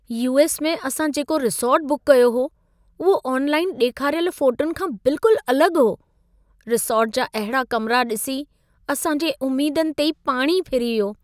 US. में असां जेको रिसॉर्ट बुक कयो हो, उहो ऑनलाइन ॾेखारियल फ़ोटुनि खां बिल्कुलु अलॻि हो। रिसॉर्ट जा अहिड़ा कमिरा ॾिसी असां जी उमेदुनि ते ई पाणी फिरी वियो।